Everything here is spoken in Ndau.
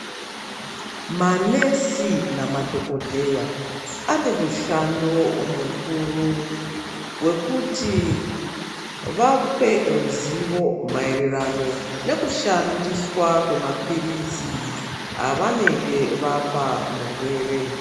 Manesi namadhokodheya anemushando mukuru wekuti vape ruzivo mairirano nekushandiswa kwemapirizi avanenge vapamurwere